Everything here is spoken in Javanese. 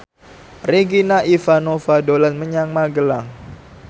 Regina Ivanova dolan menyang Magelang